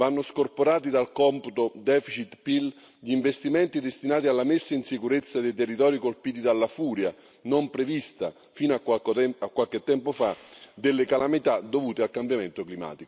Vanno scorporati dal computo deficit PIL gli investimenti destinati alla messa in sicurezza dei territori colpiti dalla furia, non prevista fino a qualche tempo fa, delle calamità dovute al cambiamento climatico.